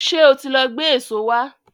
Ṣé ó ti lọ gbé èso wá?